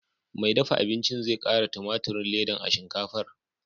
Mai dafa abincin zai ƙara tumaturin ledan a shinkafar.